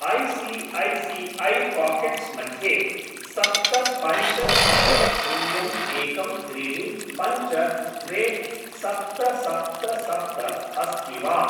I C A C A pockets मध्ये सप्त पञ्च सप्त शून्यम् एकं त्रीणि पञ्च द्वे सप्त सप्त सप्त अस्ति वा?